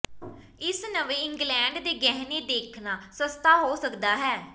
ਇਸ ਨਵੇਂ ਇੰਗਲੈਂਡ ਦੇ ਗਹਿਣੇ ਦੇਖਣਾ ਸਸਤਾ ਹੋ ਸਕਦਾ ਹੈ